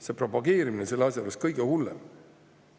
See propageerimine on selle asja juures kõige hullem.